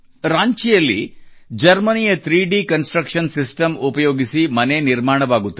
ರಾಂಚಿಯಲ್ಲಿ ಜರ್ಮನಿಯ 3DConstruction system ಉಪಯೋಗಿಸಿ ಮನೆ ನಿರ್ಮಾಣವಾಗುತ್ತದೆ